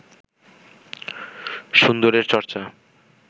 সুন্দরের চর্চা